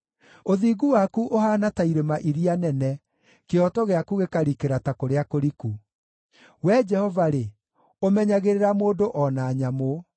Ũthingu waku ũhaana ta irĩma iria nene, kĩhooto gĩaku gĩkarikĩra ta kũrĩa kũriku. Wee Jehova-rĩ, ũmenyagĩrĩra mũndũ o na nyamũ.